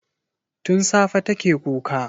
Tun safe take kuka.